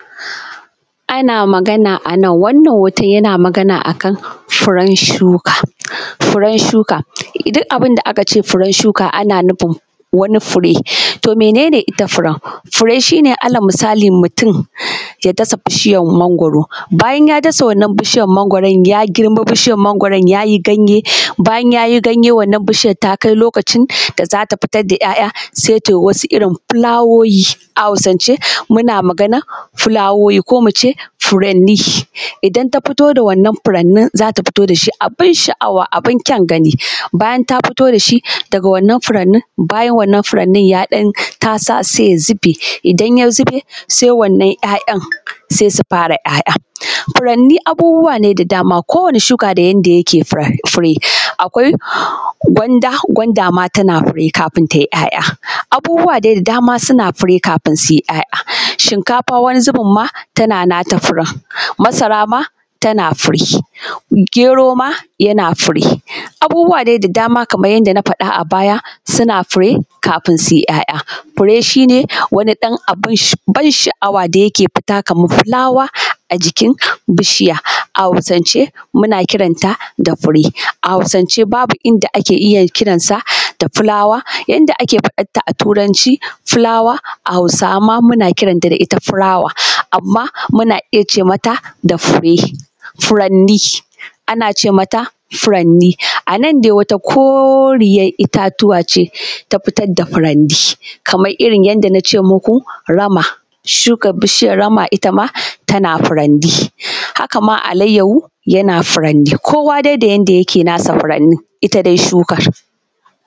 Ana magana a nan, wannan hotan yana magana akan furen shuka duk abun da aka ce furen shuka ana nufin wani fure. To, mene ne ita furen? Fure shi ne ala misali mutum ya dasa bishiyan mangwaro bayan ya dasa wannan bishiyan mangwaron ya yi girma sannan ya yi ganye bayan ya yi ganye wananan bishiyan takai lokacin da za ta fitar da ‘ya’ya sai ta yi wasu irin filawowi a Hausance muna maganan filawoyi ko mu ce furanni. Idan ta fito da wannan furannin za ta fito da shi abun sha’awa abun kyan gani bayan ta fito da shi daga wannan furannin bayan wannnan furannin ya dan tasa sai ya zube idan ya zube sai wannan ‘ya’yan sai su fara ‘ya’ya. Furanni abubuwa ne da dama kowane shuka da yanda yake fure, akwai gwanda, gwanda ma tana fure kafun ta yi ‘ya’ya abubuwa dai da dama suna fure kafun ta yi ‘ya’ya, shinkafa wani zubin ma tana nata furen, masara ma tana nata furen, gero ma yana fure. Abubuwa dai da dama kaman yanda na fada a baya suna fure kafin su yi ‘ya’ya. Fure shi ne wani ɗan abun ban sha’awa da yake fita kaman filawa a jikin bishiya a Hausance muna kiranta da fure, a Hausance babu inda ake iya kiranta da filawa yadda ake faɗanta a Turanci filawa a Hausance amma muna kiranta da ita filawa, amma muna iya ce mata fure, furannni ana ce mata furanni a nan dai wata koriyar itatuwa ce ta fitar da furanni kamar irin yanda an ce muku rama sukan bishiyar rama ita ma tana furanni. Haka ma alayyahu yana furanni kowa dai da yadda yake nasa furannin ita dai shukan.